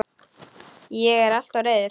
Ég er alltof reiður.